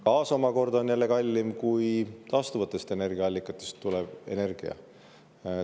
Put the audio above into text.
Gaas omakorda on jälle kallim kui taastuvatest energiaallikatest tulev energia.